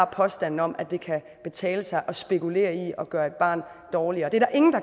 påstanden om at det kan betale sig at spekulere i at gøre et barn dårligere der er ingen